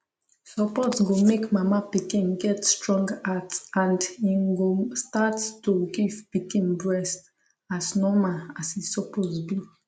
support go make mama pikin get strong heart and im go start to give pikin breast as normal as e suppose be